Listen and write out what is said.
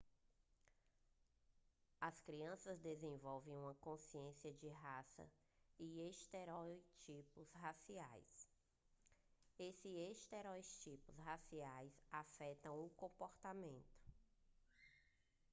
as crianças desenvolvem uma consciência de raça e estereótipos raciais e esses estereótipos raciais afetam o comportamento